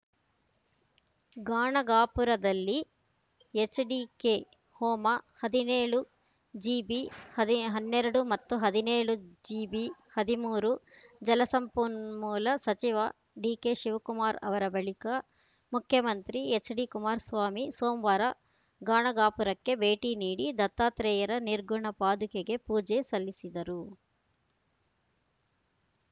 ಗಾಣಗಾಪುರದಲ್ಲಿ ಎಚ್‌ಡಿಕೆ ಹೋಮ ಹದಿನೇಳು ಜಿಬಿ ಹನ್ನೆರಡು ಮತ್ತು ಹದಿನೇಳು ಜಿಬಿ ಹದಿಮೂರು ಜಲಸಂಪನ್ಮೂಲ ಸಚಿವ ಡಿಕೆಶಿವಕುಮಾರ್‌ ಅವರ ಬಳಿಕ ಮುಖ್ಯಮಂತ್ರಿ ಎಚ್‌ಡಿಕುಮಾರಸ್ವಾಮಿ ಸೋಮವಾರ ಗಾಣಗಾಪುರಕ್ಕೆ ಭೇಟಿ ನೀಡಿ ದತ್ತಾತ್ರೇಯರ ನಿರ್ಗುಣ ಪಾದುಕೆಗೆ ಪೂಜೆ ಸಲ್ಲಿಸಿದರು